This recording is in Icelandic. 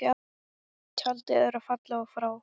Tjaldið er fallið og frá.